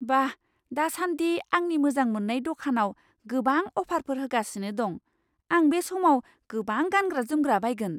बा! दासान्दि आंनि मोजां मोन्नाय दखानाव गोबां अफारफोर होगासिनो दं। आं बे समाव गोबां गानग्रा जोमग्रा बायगोन।